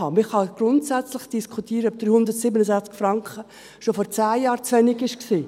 Man kann grundsätzlich diskutieren, ob 367 Franken schon vor 10 Jahren zu wenig waren.